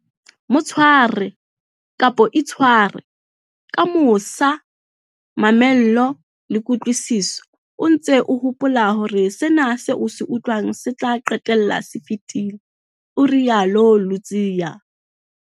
Mo tshware, kapa itshware, ka mosa, mamello le kutlwisiso, o ntse o hopola hore sena seo o se utlwang se tla qetella se fetile, o rialo Ludziya.